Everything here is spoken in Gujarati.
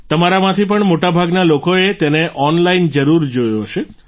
તમારામાંથી પણ મોટાભાગના લોકોએ તેને ઓનલાઈન જરૂર જોયો હશે